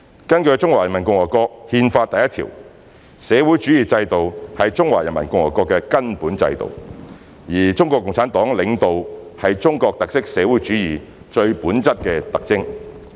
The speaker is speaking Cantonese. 根據《中華人民共和國憲法》第一條，社會主義制度是中華人民共和國的根本制度，而中國共產黨領導是中國特色社會主義最本質的特徵。